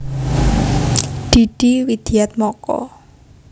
Didi Widiatmoko